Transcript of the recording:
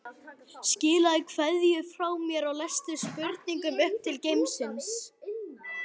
Skilaðu kveðju frá mér og lestu spurninguna upp fyrir hann.